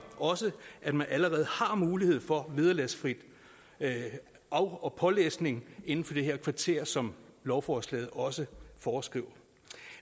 også at man allerede har mulighed for vederlagsfri af og pålæsning inden for det her kvarter som lovforslaget også foreskriver